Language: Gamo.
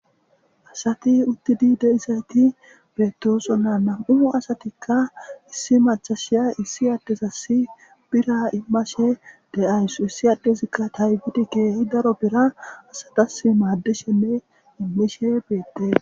Asati uttidii de'izaytti bettossonna nam'u asatikka issi macashiya issi addezas biirra iimashe deawus issi addezikka taypiddi keehi daro biirra asatas maaddishenne bettes